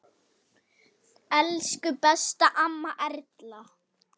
Elsku besta amma Erla.